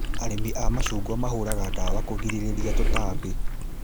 Arĩmi a macungwa mahũraga ndawa kũgirĩria tũtambi